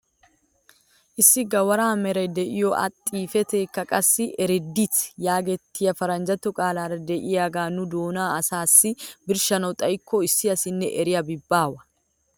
Issi gawara meray de'iyoo a xifateekka qassi "reddit" yaagettiyaa paranjjatto qaalaara de'iyaagee nu doonan asaassi birshshana xayikko issi asinne eriyaabi baawa!